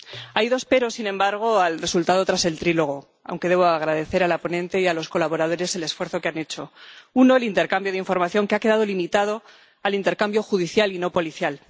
Hay dos pero, sin embargo, al resultado tras el diálogo tripartito —aunque debo agradecer a la ponente y a los colaboradores el esfuerzo que han hecho— uno, el intercambio de información, que ha quedado limitado al intercambio judicial, y no policial